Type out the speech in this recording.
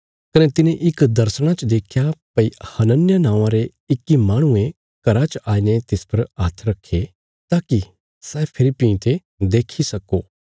कने तिने इक दर्शणा च देख्या भई हनन्याह नौआं रे इक्की माहणुये घरा च आईने तिस पर हात्थ रखे ताकि सै फेरी भीं ते देखी सक्को